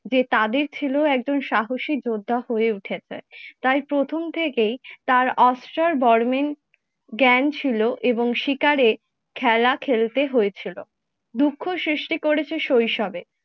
যে তাদের ছেলেও একজন সাহসী যোদ্ধা হয়ে উঠেছে। তাই প্রথম থেকেই তার অস্ত্র বর্মন জ্ঞান ছিল এবং শিকারে খেলা খেলতে হয়েছিল। দুঃখ সৃষ্টি করেছে শৈশবে